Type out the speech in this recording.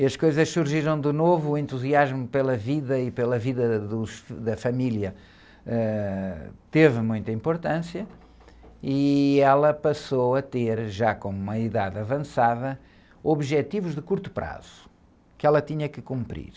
E as coisas surgiram de novo, o entusiasmo pela vida e pela vida dos, da família, ãh, teve muita importância e ela passou a ter, já com uma idade avançada, objetivos de curto prazo que ela tinha que cumprir.